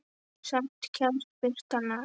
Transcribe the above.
Samt kemst birtan að.